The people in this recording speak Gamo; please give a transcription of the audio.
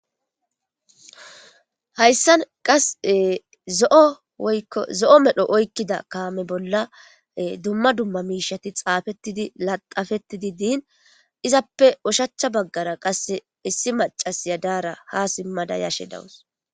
hayssan qas zo7ozo7o medho oykkida kaame bolla dumma dumma miishati xaafettidi laxafettidi diin izappe ushachcha baggara qasse issi macas yadaara ha simmada yashe dawus